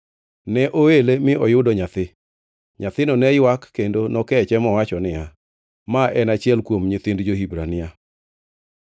Ne oele mi oyudo nyathi. Nyathino ne ywak, kendo nokeche mowacho niya, “Ma en achiel kuom nyithind jo-Hibrania.”